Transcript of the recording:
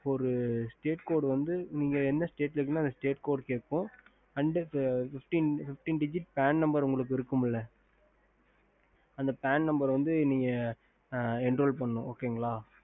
ஒரு state code வந்து நீங்க எந்த state இருக்குறீங்களோ அந்த state code கேக்கும் and fifteen digit band number இருக்கும் இல்ல அந்த band number நீங்க வந்து enroll பண்ணனும்